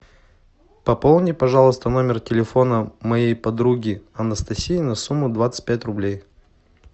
пополни пожалуйста номер телефона моей подруги анастасии на сумму двадцать пять рублей